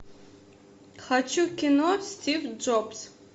хочу кино стив джобс